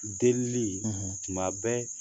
Delili tuma bɛ